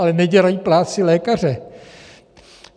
Ale nedělají práci lékaře.